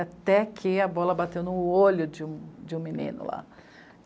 até que a bola bateu no olho de um, de um menino lá.